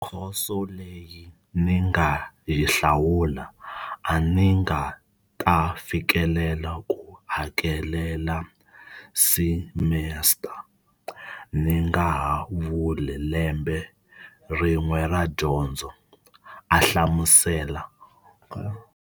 Khoso leyi ni nga yi hlawula, a ni nga ta fikelela ku hakelela simesita, ni ngaha vuli lembe rin'we ra dyondzo, a hlamusela.